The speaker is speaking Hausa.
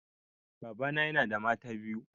Baba na yana da mata biyu.